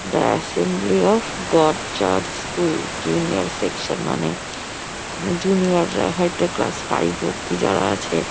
the assembly of God church school junior section মানে এখানে junior -রা হয়তো ক্লাস ফাইভ অবধি যারা আছে --